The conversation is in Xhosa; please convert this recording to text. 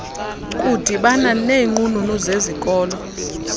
kudibana neenqununu zezikolo